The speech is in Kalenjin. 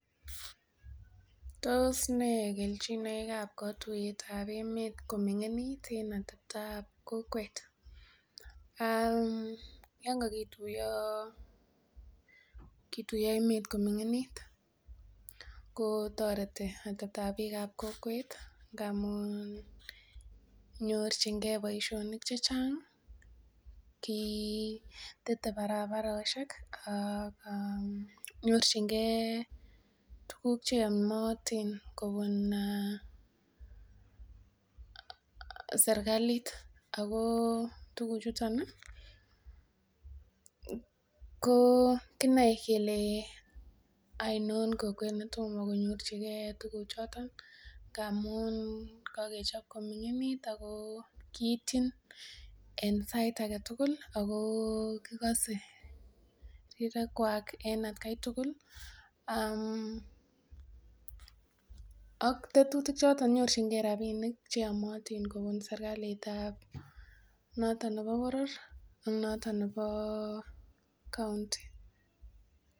Tos nee kelchinoikab katuyetab emet kominingit eng ateptoab kokwet? Yon kakituiyo emet koming'init kotoreti ateptoab biik ab kokwet amun nyorchingee boisionik chechang, tete barabarosiek um nyorchingee tuguk cheyomotin kobun serkalit ako tuguk chuton ih ko kinoe kele oinon kokwet netomo konyorchigee tuguk choton amun kakechop koming'init ako kiityin en sait aketugul ako kikose rirek kwak en atkai tugul um ak tetutik choton nyorchingee rapinik cheyomotin kobun serkalit ab noton nebo boror ak noton nebo county